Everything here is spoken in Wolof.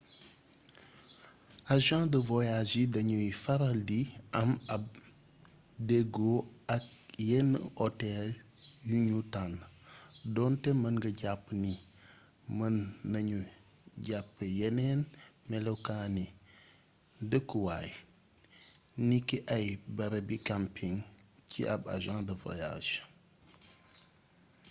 agent de voyage yi dañooy faral di am ab déggoo ak yenn otel yuñu tànn donte mën nga jàpp ni mën nañu jàpp yeneen melokaani dëkkuwaay niki ay barabi camping ci ab agent de voyage